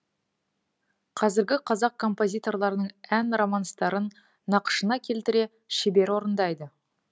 қазіргі қазақ композиторларының ән романстарын нақышына келтіре шебер орындайды